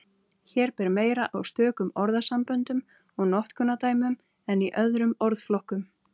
Hér ber meira á stökum orðasamböndum og notkunardæmum en í öðrum orðflokkum.